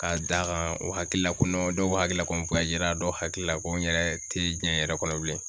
Ka d'a kan o hakilila ko dɔw hakili la ko n dɔw hakili la ko n yɛrɛ tɛ diɲɛ yɛrɛ kɔnɔ bilen